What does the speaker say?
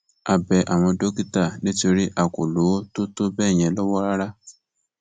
a bẹ àwọn dókítà nítorí a kò lówó tó tọ bẹẹ yẹn lọwọ rárá